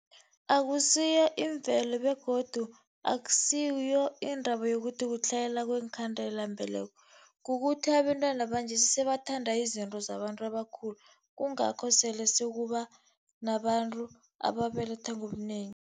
Akusiyo imvelo begodu akusiyo indaba yokuthi kutlhayela kweenkhandelambeleko, kukuthi abentwana banje sebathanda izinto zabantu abakhulu, kungakho sele sekuba nabantu ababelethwa ngobunengi.